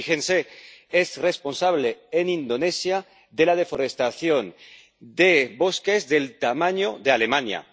Fíjense, es responsable en Indonesia de la deforestación de bosques del tamaño de Alemania.